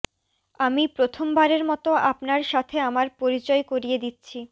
আমি প্রথমবারের মতো আপনার সাথে আমার পরিচয় করিয়ে দিচ্ছি